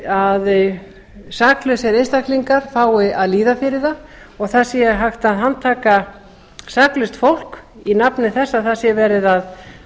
að saklausir einstaklingar fái að líða fyrir það og það sé hægt að handtaka saklaust fólk í nafni þess